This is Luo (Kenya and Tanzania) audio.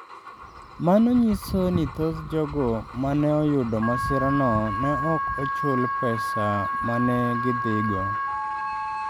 Mano nyiso ni thoth jogo ma ne oyudo masirano ne ok ochuli pesa ma ne gidhigo.